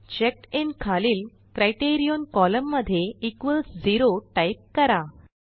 चेकडिन खालील criterion column मध्ये equals 0 type करा